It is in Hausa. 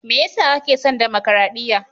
Me ya sa kake son damakaraɗiya?